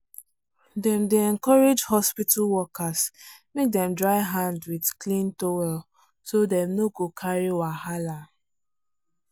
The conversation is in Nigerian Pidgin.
dem dey encourage hospital workers make dem dry hand with clean towel so dem no go carry wahala.